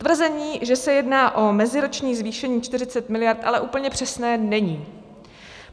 Tvrzení, že se jedná o meziroční zvýšení 40 mld., ale úplně přesné není.